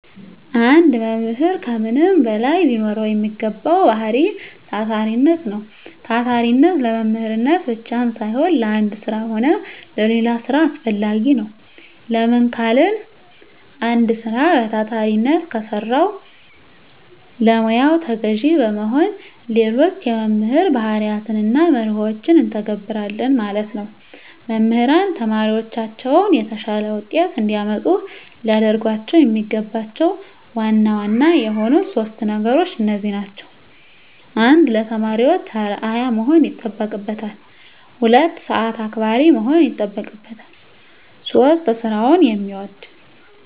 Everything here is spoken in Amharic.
አንድ መምህር ከምንም በላይ ሊኖረዉ የሚገባዉ ባህሪይ ታታሪነት ነዉ። ታታሪነት ለመምህርነት ብቻም ሳይሆን ለአንድ ስራ ሆነ ለሌላ ስራ አስፈላጊ ነዉ። ለምን ካልን አንድ ስራ በታታሪነት ከሰራን ለሙያዉ ተገዢ በመሆን ሌሎች የመምህር ባህርያትንና መርሆችን እንተገብረለን ማለት ነዉ። መምህራን ተማሪዎቻቸውን የተሻለ ዉጤት እንዲያመጡ ሊያደርጓቸዉ የሚገባቸዉ ዋና ዋና የሆኑት 3 ነገሮች እነዚህ ናቸዉ። 1. ለተማሪዎች አርዕያ መሆን ይጠበቅበታል። 2. ሰአት አክባሪ መሆን ይጠበቅበታል። 3. ስራዉን የሚወድ።